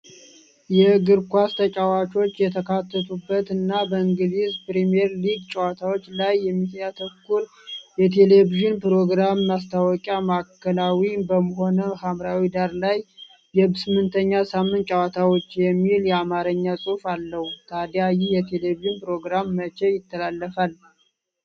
የእግር ኳስ ተጫዋቾች የተካተቱበት እና በእንግሊዝ ፕሪሚየር ሊግ ጨዋታዎች ላይ የሚያተኩር የቴሌቪዥን ፕሮግራም ማስታወቂያ፣ ማዕከላዊ በሆነው ሐምራዊ ዳራ ላይ "የስምንተኛ ሳምንት ጨዋታዎች" የሚል የአማርኛ ጽሑፍ አለው፣ ታዲያ ይህ የቴሌቪዥን ፕሮግራም መቼ ይተላለፋል?